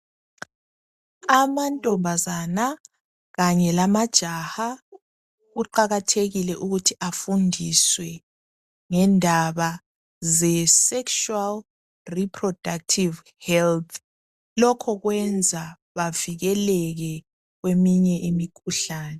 Amantombazana kanye lamajaha kuqakathekile ukuthi afundiswe ngendaba ze 'sexual reproductive health' lokho kwenza bavikeleke kweminye imikhuhlane.